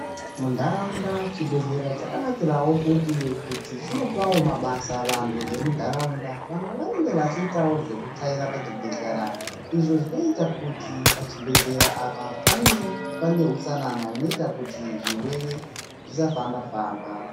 Munharaunda chibhedhlera chakanakira wo kuti kuti chinopavo mabasa vantu vemunharaunda. Vamwe vanenge vachiitavo zvekutsvaira pachibhedhlera, izvo zvinoita kuti pachibhedhlera apa pave pane hutsanana hunoita kuti zvirwere zvisafamba-famba.